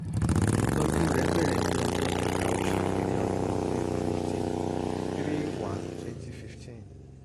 ìtójú rẹ̀ bẹ̀rẹ̀ ní ọjọ́ kẹta oṣù kìíní ọdún twenty fifteen three one twenty fifteen